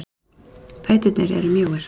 Fæturnir eru mjóir.